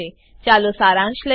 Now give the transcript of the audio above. ચાલો સારાંશ લઈએ